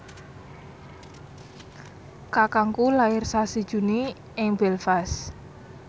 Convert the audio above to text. kakangku lair sasi Juni ing Belfast